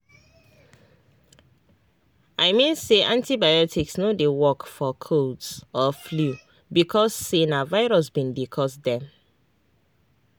i mean say antibiotics no dey work for colds or flu because say na virus bin dey cause dem